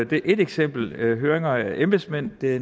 det er ét eksempel høringer af embedsmænd er